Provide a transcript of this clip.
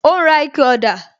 Ó ń ra ikẹ ọ̀dà